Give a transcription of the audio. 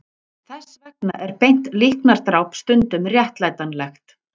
Þess vegna er beint líknardráp stundum réttlætanlegt.